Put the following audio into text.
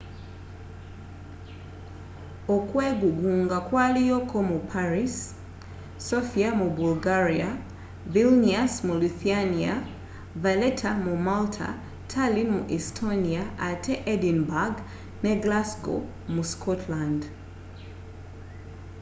okwegugunga kwaliyo ko mu paris sofia mu bulgaria vilnius mu lithuania valeta mu malta tallin mu estonia ate edinburgh ne glasgow mu scotland